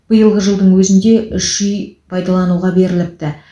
биылғы жылдың өзінде үш үй пайдалануға беріліпті